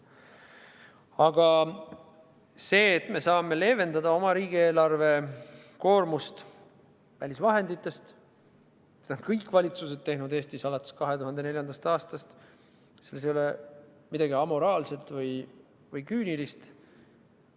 Aga see, et me saame leevendada riigieelarve koormust välisvahendite abil – seda on teinud kõik Eesti valitsused alates 2004. aastast, selles ei ole midagi amoraalset ega küünilist.